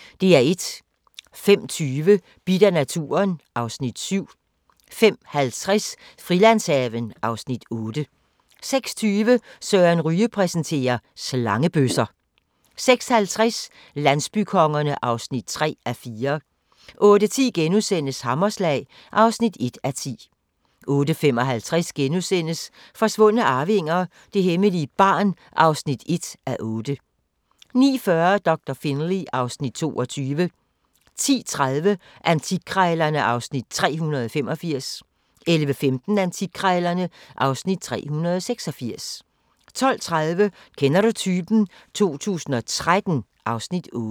05:20: Bidt af naturen (Afs. 7) 05:50: Frilandshaven (Afs. 8) 06:20: Søren Ryge præsenterer: Slangebøsser 06:50: Landsbykongerne (3:4) 08:10: Hammerslag (1:10)* 08:55: Forsvundne arvinger: Det hemmelige barn (1:8)* 09:40: Doktor Finlay (Afs. 22) 10:30: Antikkrejlerne (Afs. 385) 11:15: Antikkrejlerne (Afs. 386) 12:30: Kender du typen? 2013 (Afs. 8)